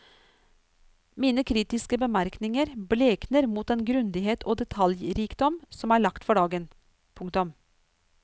Mine kritiske bemerkninger blekner mot den grundighet og detaljrikdom som er lagt for dagen. punktum